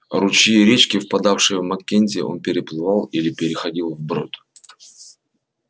ручьи и речки впадавшие в маккензи он переплывал или переходил вброд